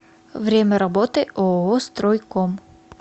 время работы ооо стройком